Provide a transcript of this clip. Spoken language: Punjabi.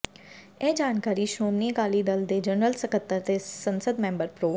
ਇਹ ਜਾਣਕਾਰੀ ਸ਼੍ਰੋਮਣੀ ਅਕਾਲੀ ਦਲ ਦੇ ਜਨਰਲ ਸਕੱਤਰ ਤੇ ਸੰਸਦ ਮੈਂਬਰ ਪ੍ਰੋ